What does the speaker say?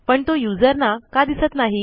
पण तो युजरना का दिसत नाही